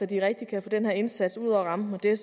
de rigtig kan få den her indsats ud over rampen og det er